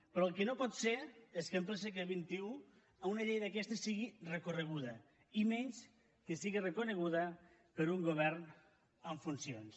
però el que no pot ser és que en ple segle xxi una llei d’aquestes sigui recorreguda i menys que sigui recorreguda per un govern en funcions